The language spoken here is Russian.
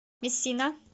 мессина